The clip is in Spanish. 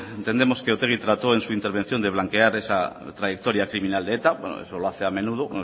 entendemos que otegi trató en su intervención de blanquear esa trayectoria criminal de eta bueno eso lo hace a menudo